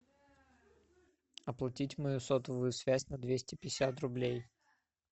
оплатить мою сотовую связь на двести пятьдесят рублей